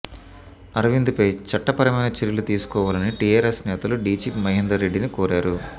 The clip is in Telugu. అరవింద్ పై చట్టపరమైన చర్యలు తీసుకోవాలని టీఆర్ఎస్ నేతలు డీజీపీ మహేందర్ రెడ్డిని కోరారు